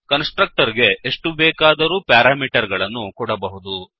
ಕನ್ಸ್ ಟ್ರಕ್ಟರ್ ಗೆ ಎಷ್ಟು ಬೇಕಾದರೂ ಪ್ಯಾರಾಮೀಟರ್ ಗಳನ್ನು ಕೊಡಬಹುದು